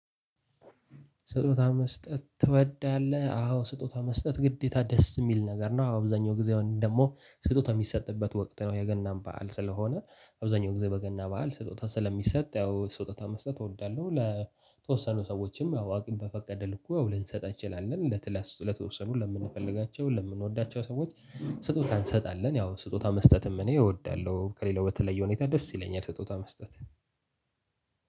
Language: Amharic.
ስጦታ መስጠት ትወዳለህ? አዎ ስጦታ መስጠት ግዴታ ደስ የሚል ነገር ነው። አዎ አብዛኛው ጊዜ ደግሞ ስጦታ የሚሰጥበት ወቅት ነው። የገናን በዓል ስለሆነ አብዛኛው ጊዜ በገና በዓል ስጦታ ስለሚሰጥ ያው ስጦታ መስጠት እወዳለሁ። ለተወሰኑ ሰዎችም ያው አቅም በፈቀደ ልኩ ልንሰጥ እንችላለን ለተለያዩ ለተወሰኑ ለምንፈልጋቸው ለምንወዳቸው ሰዎች ስጦታ እንሰጣለን። ያው ስጦታ መስጠትም እኔ እወዳለሁ ከሌላው በተለየ ሁኔታ ደስ ይለኛል። ስጦታ መስጠት